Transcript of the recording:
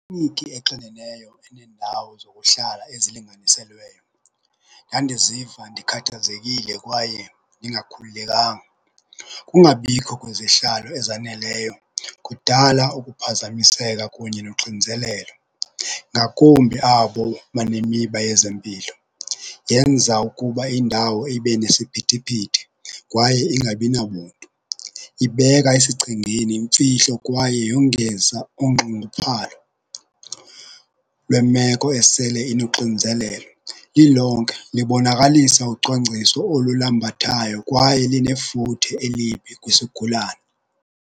exineneyo enendawo zokuhlala ezilinganiselweyo ndandiziva ndikhathazekile kwaye ndingakhululekanga. Ukungabikho kwezihlalo ezaneleyo kudala ukuphazamiseka kunye noxinizelelo, ngakumbi abo banemiba yezempilo. Yenza ukuba indawo ibe nesiphithiphithi kwaye ingabi nabuntu. Ibeka esichengeni imfihlo kwaye yongeza unxunguphalo lwemeko esele inoxinzelelo, lilonke libonakalisa ucwangciso olulambathayo kwaye linefuthe elibi kwisigulane.